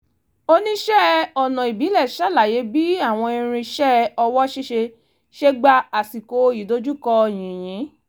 oníṣẹ́ ọnà ìbílẹ̀ ṣàlàyé bí àwọn irinṣẹ́ ọwọ́ ṣíṣe ṣe gbẹ́ àsìkò ìdojúkọ yìnyín